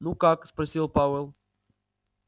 ну как спросил пауэлл